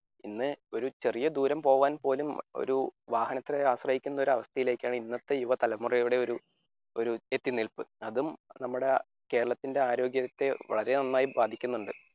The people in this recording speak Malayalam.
ഇന്ന് ഒരു ചെറിയ ദൂരം പോവാൻപോലും ഒരു വാഹനത്തെ ആശ്രയിക്കുന്ന ഒരു അവസ്ഥയിലേക്കാണ് ഇന്നത്തെ യുവതലമുറയുടെ ഒരു ഒരു ഇതിൽനിൽപ് അതും നമ്മുടെ കേരളത്തിന്റെ ആരോഗ്യത്തെ വളരെ നന്നായി ബാധിക്കുന്നുണ്ട്.